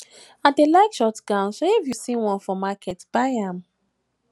i dey like short gown so if you see one for market buy am